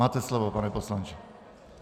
Máte slovo, pane poslanče.